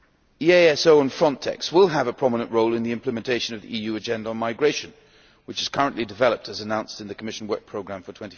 EASO and FRONTEX will have a prominent role in the implementation of the EU agenda on migration which is currently developed as announced in the Commission Work Programme for